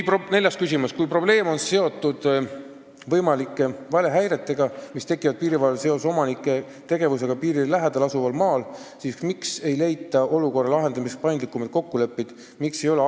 Neljas küsimus: "Kui probleem on seotud võimalike valehäiretega, mis tekivad piirivalvel seoses omanike tegevusega piirile lähedal asuval maal, siis miks ei leita olukorra lahendamiseks paindlikumaid kokkuleppeid?